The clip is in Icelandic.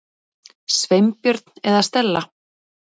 Sveinbjörn eða Stella.